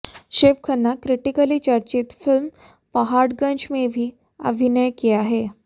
Shiv Khanna critically चर्चित film Paharganj में भी अभिनय किया हैं